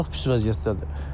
Çox pis vəziyyətdədir.